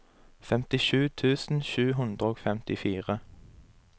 femtisju tusen sju hundre og femtifire